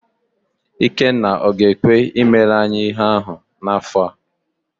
Ikenna ọ ga-ekwe i mere anyị ihe ahụ n'afọ a?